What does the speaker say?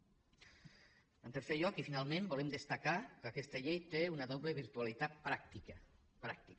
en tercer lloc i finalment volem destacar que aquesta llei té una doble virtualitat pràctica pràctica